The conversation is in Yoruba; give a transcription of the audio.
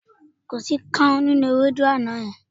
Kò sí káún nínú ewédú àná yẹn.